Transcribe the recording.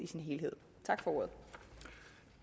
helhed